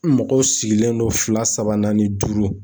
Mɔgɔw sigilen don fila, saba, naani, duuru